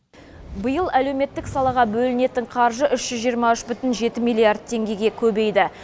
биыл әлеуметтік салаға бөлінетін қаржы үш жүз жиырма үш бүтін жеті миллиард теңгеге көбейді